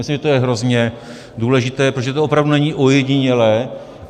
Myslím, že to je hrozně důležité, protože to opravdu není ojedinělé.